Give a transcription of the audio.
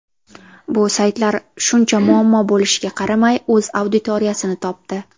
Bu saytlar, shuncha muammo bo‘lishiga qaramay, o‘z auditoriyasini topdi.